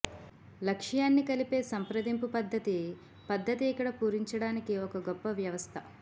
లక్ష్యాన్ని కలిపే సంప్రదింపు పద్ధతి పద్ధతి ఇక్కడ పూరించడానికి ఒక గొప్ప వ్యవస్థ